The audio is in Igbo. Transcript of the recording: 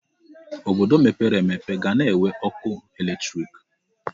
Obodo mepere emepe ga na-enwe ọkụ eletrik.